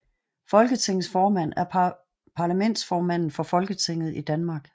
Folketingets formand er parlamentsformanden for Folketinget i Danmark